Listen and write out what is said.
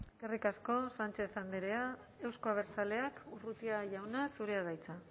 eskerrik asko sánchez andrea euzko abertzaleak urrutia jauna zurea da hitza